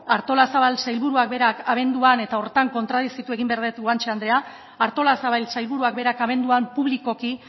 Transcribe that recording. artolazabal sailburuak berak abenduan eta horretan kontradizitu egin behar dut guanche andrea artolazabal sailburuak berak abenduan publikoki